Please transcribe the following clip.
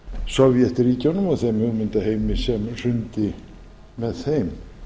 sovétríkjunum og þeim hugmyndaheimi sem hrundi með þeim